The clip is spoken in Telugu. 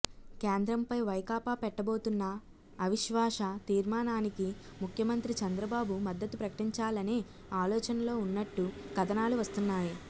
కేంద్రంపై వైకాపా పెట్టబోతున్న అవిశ్వాస తీర్మానానికి ముఖ్యమంత్రి చంద్రబాబు మద్దతు ప్రకటించాలనే ఆలోచనలో ఉన్నట్టు కథనాలు వస్తున్నాయి